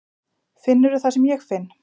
Finnurðu það sem ég finn?